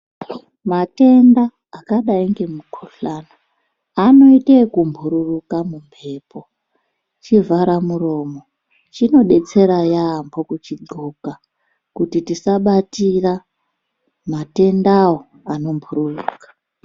Matenda akadayi ngemukuhlani anoita ebhururuka mumbepo. Chivhara muromo chinodetsera yaambo kuchidxola kuti tisabatira matendawo anobhururuka.